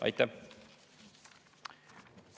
Aitäh!